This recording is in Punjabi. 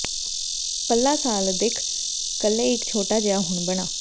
ਪੱਲਾ ਸਾਲ ਅਦਿੱਖ ਕੁੱਲ੍ਹੇ ਇੱਕ ਛੋਟਾ ਜਿਹਾ ਹੁਣ ਬਣਾ